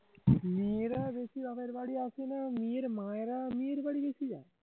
মেয়েরা বেশি বাপের বাড়ি আসে না মেয়ের মায়েরা মেয়ের বাড়ি বেশি যায়